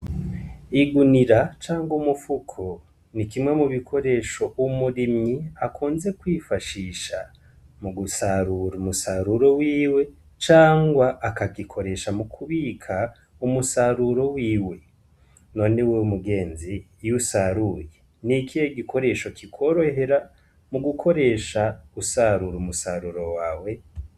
Igunira canke umufuko ni kimwe mu bikoresho umurimyi akunze kwifashisha mu gusarura umusaruro wiwe cangwa akagikoresha mu kubika umusaruro wiwe none wewe mugenzi iyo usaruye n' ikihe gikoresho kikorohera mu gukoresha usarura umusaruro wawe?